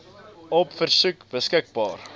op versoek beskikbaar